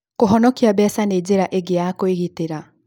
Kũhonokia mbeca nĩ njĩra ĩngĩ ya kwĩgitĩra.